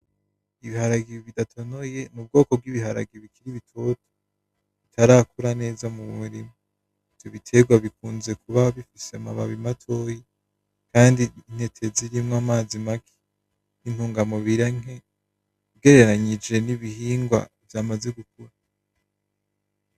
Ibiharage bidatonoye mubwoko bwibiharage bikiri bitoto, bitarakura neza mu murima. Ivyo biterwa bikunze kuba bifise amababi matoyi, kandi intete zirimwo amazi make, intunga mubiri nke ugereranyije nibihingwa vyamaze gukura.